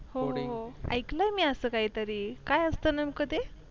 हो हो ऐकलं आहे मी असं काहीतरी काय असतं नेमकं ते